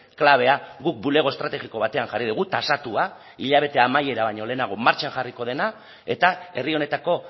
klabea guk bulego estrategiko batean jarri dugu tasatua hilabete amaiera baino lehenago martxan jarriko dena eta herri honetako